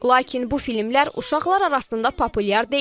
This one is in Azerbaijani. Lakin bu filmlər uşaqlar arasında populyar deyil.